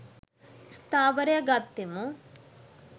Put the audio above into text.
ස්ථාවරය ගත්තෙමු.